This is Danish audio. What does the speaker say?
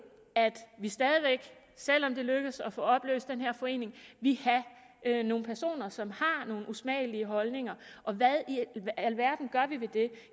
at vi stadig væk selv om det lykkes at få opløst den her forening vil have nogle personer som har nogle usmagelige holdninger og hvad i alverden gør vi ved det